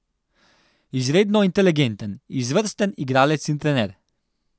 Izredno inteligenten, izvrsten igralec in trener.